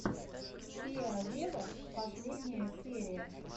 сиа вево последняя серия